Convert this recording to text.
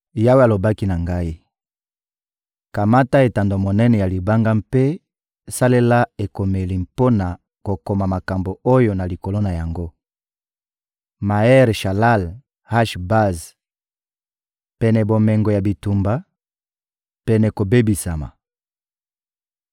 Yawe alobaki na ngai: «Kamata etando monene ya libanga mpe salela ekomeli mpo na kokoma makambo oyo na likolo na yango: Maher-Shalal-Hash-Baz (pene bomengo ya bitumba, pene kobebisama).»